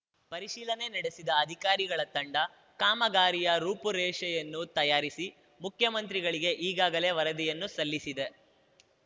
ಪರಿಶೀಲನೆ ನಡೆಸಿದ ಅಧಿಕಾರಿಗಳ ತಂಡ ಕಾಮಗಾರಿಯ ರೂಪುರೇಷೆಯನ್ನು ತಯಾರಿಸಿ ಮುಖ್ಯಮಂತ್ರಿಗಳಿಗೆ ಈಗಾಗಲೇ ವರದಿಯನ್ನು ಸಲ್ಲಿಸಿದೆ